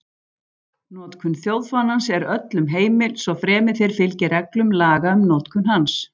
Notkun þjóðfánans er öllum heimil, svo fremi þeir fylgi reglum laga um notkun hans.